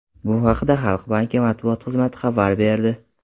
Bu haqda Xalq banki matbuot xizmati xabar berdi .